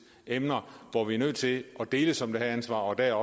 emner hvor vi er nødt til at deles om det her ansvar og der